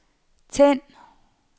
tænd